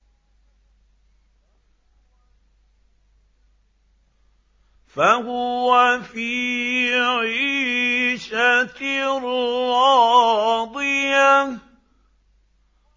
فَهُوَ فِي عِيشَةٍ رَّاضِيَةٍ